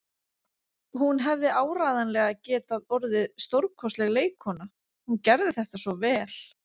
Hún hefði áreiðanlega getað orðið stórkostleg leikkona, hún gerði þetta svo vel.